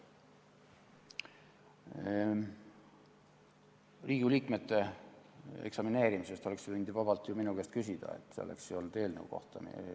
Riigikogu liikmete eksamineerimise kohta oleksid sa võinud ju vabalt minu käest küsida, see oleks käinud eelnõu kohta.